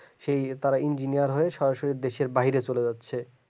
সে তারা engineer হয়ে দেশের বাইরে সরাসরি চলে যাচ্ছে